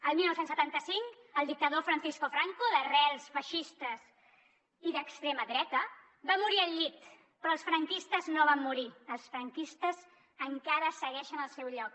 el dinou setanta cinc el dictador francisco franco d’arrels feixistes i d’extrema dreta va morir al llit però els franquistes no van morir els franquistes encara segueixen al seu lloc